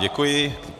Děkuji.